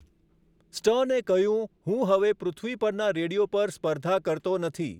સ્ટર્ને કહ્યું, 'હું હવે પૃથ્વી પરના રેડિયો પર સ્પર્ધા કરતો નથી.